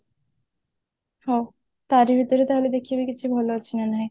ହଁ ତାରି ଭିତରେ ତାହେଲେ ଦେଖିବି କିଛି ଭଲ ଅଛି ନା ନାଇଁ